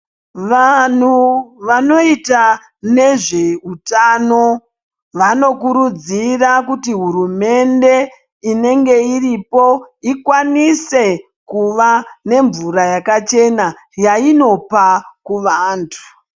Vanhu vanoita nezve utano vanokurudzira kuti hurumende inenge iripo ikwanise kuva nemvura yakachena yainopa kuvandu